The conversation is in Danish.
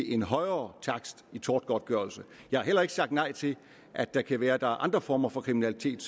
en højere takst i tortgodtgørelse jeg har heller ikke sagt nej til at der kan være andre former for kriminalitet